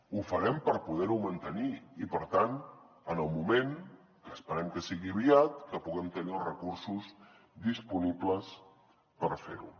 ho farem per poder ho mantenir i per tant en el moment que esperem que sigui aviat que puguem tenir els recursos disponibles per fer ho